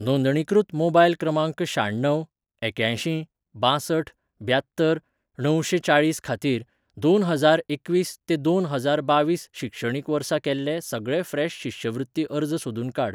नोंदणीकृत मोबायल क्रमांक शाण्णव एक्यांयशीं बांसठ ब्यात्तर णवशें चाळीस खातीर, दोन हजार एकवीस ते दोन हजार बावीस शिक्षणीक वर्सा केल्ले सगळे फ्रेश शिश्यवृत्ती अर्ज सोदून काड.